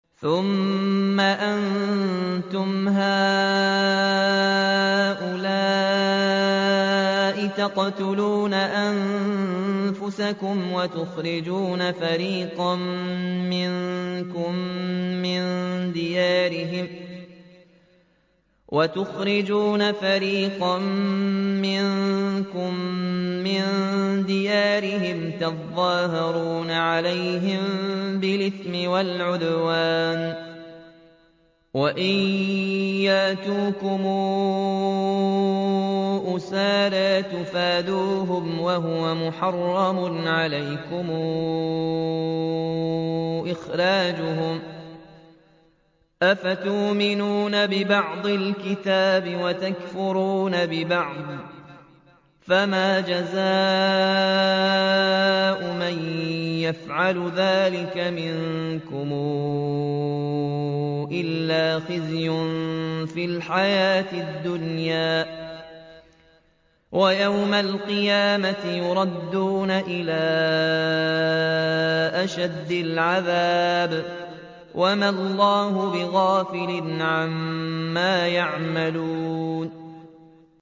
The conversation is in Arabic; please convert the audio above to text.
ثُمَّ أَنتُمْ هَٰؤُلَاءِ تَقْتُلُونَ أَنفُسَكُمْ وَتُخْرِجُونَ فَرِيقًا مِّنكُم مِّن دِيَارِهِمْ تَظَاهَرُونَ عَلَيْهِم بِالْإِثْمِ وَالْعُدْوَانِ وَإِن يَأْتُوكُمْ أُسَارَىٰ تُفَادُوهُمْ وَهُوَ مُحَرَّمٌ عَلَيْكُمْ إِخْرَاجُهُمْ ۚ أَفَتُؤْمِنُونَ بِبَعْضِ الْكِتَابِ وَتَكْفُرُونَ بِبَعْضٍ ۚ فَمَا جَزَاءُ مَن يَفْعَلُ ذَٰلِكَ مِنكُمْ إِلَّا خِزْيٌ فِي الْحَيَاةِ الدُّنْيَا ۖ وَيَوْمَ الْقِيَامَةِ يُرَدُّونَ إِلَىٰ أَشَدِّ الْعَذَابِ ۗ وَمَا اللَّهُ بِغَافِلٍ عَمَّا تَعْمَلُونَ